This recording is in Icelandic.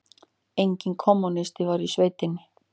Einn kommúnisti var í sveitinni.